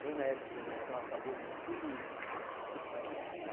Foi na época que de Lampião acabou com tudo isso.